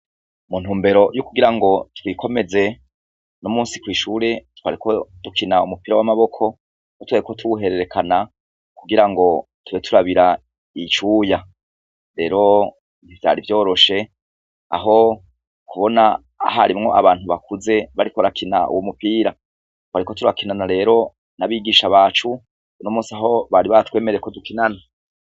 Mu ntumbero yo kugira ngo twikomeze, uno musi kw'ishure twariko dukina umupira w'amaboko aho twariko tuwuhererekana kugira ngo tube turabira icuya. Rero ntivyari vyoroshe, aho kubona harimwo abantu bakuze bariko barakina uwo mupira. Twariko turakinana rero n'abigisha bacu, uno musi ho bari batwemereye ko dukinana.